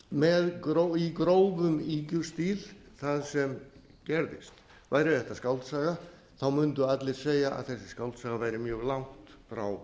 betur en staðreyndaupptalning í grófum ýkjustíl það sem gerðist væri þetta skáldsaga mundu allir segja að þessi skáldsaga væri mjög langt frá